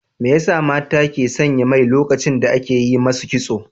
Me ya sa mata ke sanya mai lokacin da ake yi masu kitso?